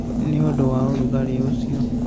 Nĩ ũndũ wa ũrugarĩ ũcio,